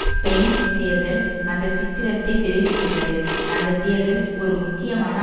Spain தேர்தல் அந்த சித்திரத்தை சிதைத்துவிட்டது அந்த தேர்தல் ஒரு முக்கியமான